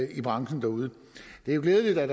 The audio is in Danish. i branchen derude det er jo glædeligt at